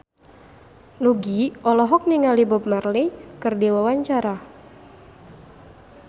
Nugie olohok ningali Bob Marley keur diwawancara